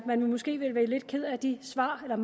man måske være lidt ked af de svar man